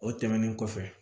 O tɛmɛnen kɔfɛ